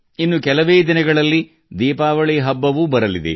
ಇನ್ನು ಕೆಲವೇ ದಿನಗಳಲ್ಲಿ ದೀಪಾವಳಿ ಹಬ್ಬ ಬರಲಿದೆ